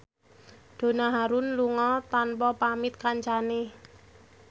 Donna Harun lunga tanpa pamit kancane